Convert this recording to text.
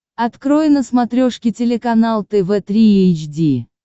открой на смотрешке телеканал тв три эйч ди